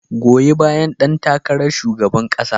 Goyi bayan ɗan takarar shugaban kasa.